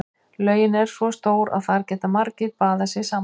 Laugin er svo stór að þar geta margir baðað sig samtímis.